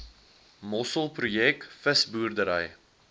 mossel projek visboerdery